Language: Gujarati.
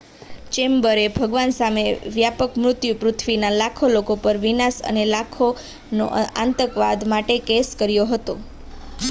ચેમ્બરે ભગવાન સામે વ્યાપક મૃત્યુ પૃથ્વીના લાખો લોકો પર વિનાશ અને લાખોનો આતંકવાદ માટે કેસ કર્યો હતો